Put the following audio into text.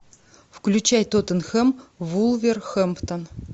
включай тоттенхэм вулверхэмптон